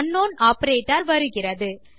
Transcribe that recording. அங்க்னவுன் operator வருகிறது